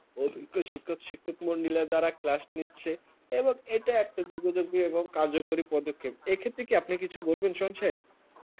আওভিগা শিক্ষক শিক্ষক মন্ডলেরা class নিচ্ছে এবং এটা একটা যোগাযোগ দিয়ে কার্যকরী পদক্ষেপ এক্ষেত্রে আপনি কিছু বলবেন সংক্ষেপ